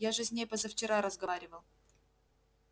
я же с ней позавчера разговаривал